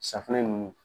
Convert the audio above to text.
Safunɛ ninnu